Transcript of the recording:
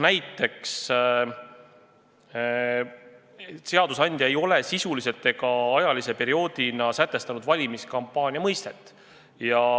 Näiteks seadusandja ei ole sisuliselt ega ajalise perioodina määratlenud valimiskampaania mõistet.